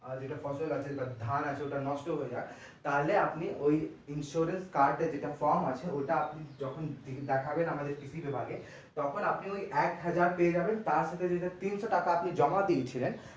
আর যেটা ফসল আছে বা ধান আছে ওটা নষ্ট হয়ে যায় তাহলে আপনি ওই insurance card এর যেটা form আছে ওইটা আপনি যখন দেখাবেন আমাদের কৃষি বিভাগে তখন আপনি ওই এক হাজার পেয়ে যাবেন তার ভিতর তিনশো টাকা যেটা আপনি জমা দিয়েছিলেন